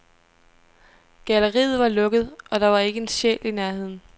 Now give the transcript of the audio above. Galleriet var lukket, og der var ikke en sjæl i nærheden.